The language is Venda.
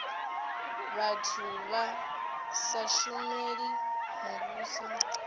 vhathu vha sa shumeli muvhuso